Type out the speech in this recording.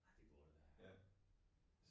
Ej det må du da